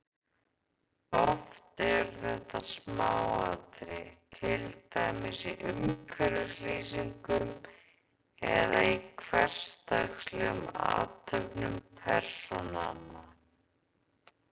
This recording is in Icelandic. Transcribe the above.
Oft eru þetta smáatriði, til dæmis í umhverfislýsingum eða í hversdagslegum athöfnum persónanna.